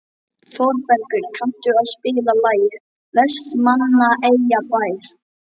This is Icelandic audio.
Þorbergur, kanntu að spila lagið „Vestmannaeyjabær“?